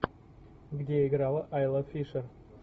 где играла айла фишер